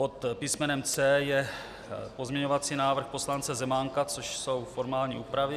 Pod písmenem C je pozměňovací návrh poslance Zemánka, což jsou formální úpravy.